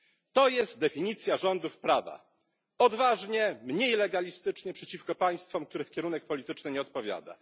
To jest definicja rządów prawa odważnie, mniej legalistycznie przeciwko państwom, których kierunek polityczny nie odpowiada.